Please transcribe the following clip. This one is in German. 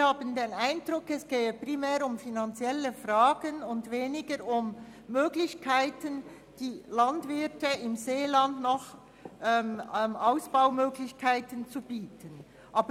Wir haben den Eindruck, es gehe mehr um finanzielle Fragen und weniger um das Angebot von Ausbaumöglichkeiten für die Landwirte im Seeland.